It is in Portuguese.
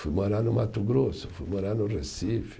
Fui morar no Mato Grosso, fui morar no Recife.